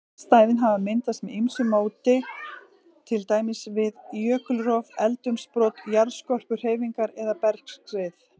Vatnsstæðin hafa myndast með ýmsu móti, til dæmis við jökulrof, eldsumbrot, jarðskorpuhreyfingar eða bergskrið.